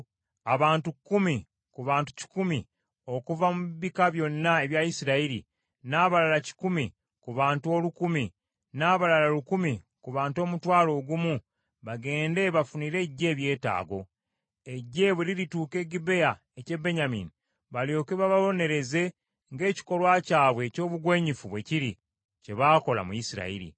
Abantu kkumi ku bantu kikumi okuva mu bika byonna ebya Isirayiri, n’abalala kikumi ku bantu olukumi, n’abalala lukumi ku bantu omutwalo ogumu bagende bafunire eggye ebyetaago. Eggye bwe lirituuka e Gibea eky’e Benyamini balyoke bababonereze ng’ekikolwa kyabwe eby’obugwenyufu bwe kiri, kye baakola mu Isirayiri.”